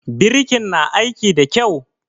Birikin na aiki da kyau?